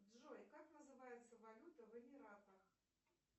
джой как называется валюта в эмиратах